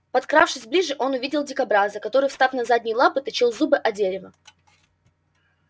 подкравшись ближе он увидел дикобраза который встав на задние лапы точил зубы о дерево